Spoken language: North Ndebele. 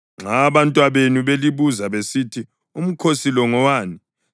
Nxa abantwabenu belibuza besithi, ‘Umkhosi lo ngowani?’